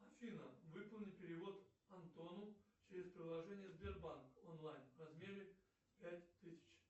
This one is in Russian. афина выполни перевод антону через приложение сбербанк онлайн в размере пять тысяч